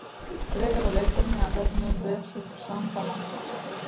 Frekara lesefni af vefnum: Vefsetur Samba Handbók Samba.